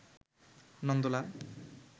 Nandalal